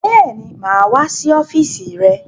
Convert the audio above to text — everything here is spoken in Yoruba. Bẹ́ẹ̀ni, mà á wá sí ọ́fíísì rẹ.